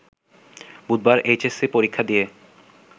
বুধবার H SC পরীক্ষা দিয়ে